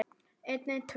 greip Jón fram í.